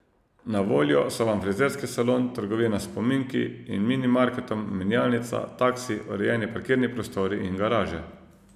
Na voljo so Vam frizerski salon, trgovina s spominki in mini marketom, menjalnica, taksi, urejeni parkirni prostori in garaže.